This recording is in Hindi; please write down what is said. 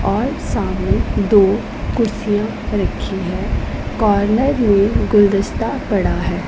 और सामने दो कुर्सियां रखी हैं कॉर्नर में गुलदस्ता पड़ा है।